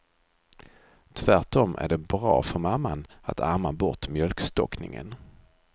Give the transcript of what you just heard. Tvärtom är det bra för mamman att amma bort mjölkstockningen.